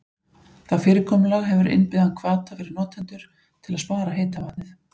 Það fyrirkomulag hefur innbyggðan hvata fyrir notendur til að spara heita vatnið.